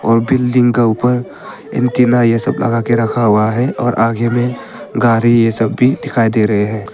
और बिल्डिंग का ऊपर एंटीना लगा के रखा हुआ है और आगे में गाड़ी ये सब भी दिखाई दे रहे हैं।